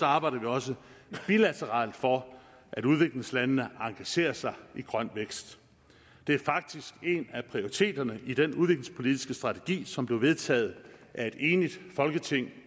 arbejder vi også bilateralt for at udviklingslandene engagerer sig i grøn vækst det er faktisk en af prioriteterne i den udviklingspolitiske strategi som blev vedtaget af et enigt folketing